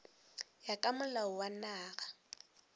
ya ka molao wa naga